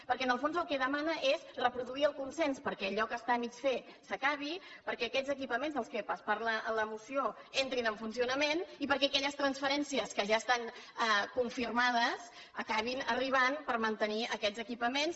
perquè en el fons el que demana és reproduir el consens perquè allò que està a mig fer s’acabi perquè aquests equipaments dels quals es parla a la moció entrin en funcionament i perquè aquelles transferències que ja estan confirmades acabin arribant per mantenir aquests equipaments